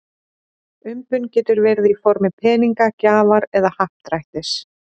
Umbun getur verið í formi peninga, gjafar eða happdrættis.